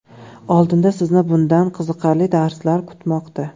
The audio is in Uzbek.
Oldinda sizni bundan ham qiziqarli darslar kutmoqda!